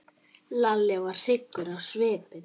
Lalli varð hryggur á svip.